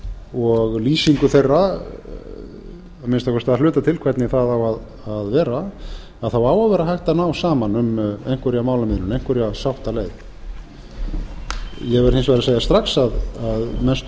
og lýsingu þeirra að minnsta kosti að hluta til hvernig það á að vera þá á að vera hægt að ná saman um einhverja málamiðlun einhverja sáttaboð ég verð hins vegar að segja strax að mestu